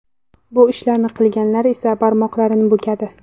Bu ishni qilganlar esa barmoqlarini bukadi.